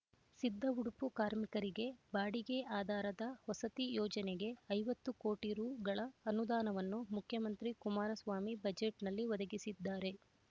ಸಿದ್ದಉಡುಪು ಕಾರ್ಮಿಕರಿಗೆ ಬಾಡಿಗೆ ಆಧಾರದ ವಸತಿ ಯೋಜನೆಗೆ ಐವತ್ತು ಕೋಟಿ ರೂಗಳ ಅನುದಾನವನ್ನು ಮುಖ್ಯಮಂತ್ರಿ ಕುಮಾರಸ್ವಾಮಿ ಬಜೆಟ್‌ನಲ್ಲಿ ಒದಗಿಸಿದ್ದಾರೆ